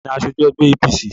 Taani aṣojú ẹgbẹ́ APC?